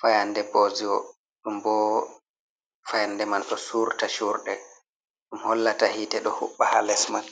fayannde booziwo ɗum boo fayannde man ɗo suurta cuurɗe ɗum hollata hiite ɗo huɓɓa haa les man.